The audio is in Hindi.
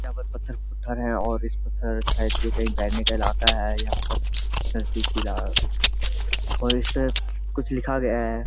यहाँ पर पत्थर पत्थर है और इस पत्थर शायद ये कहीं बैठने का इलाका है यहाँ पर नजदीकी इलाका और इस पे कुछ लिखा गया है।